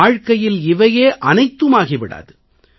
வாழ்ககையில் இவையே அனைத்துமாகி விடாது